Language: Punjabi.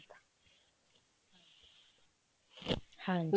ਹਾਂ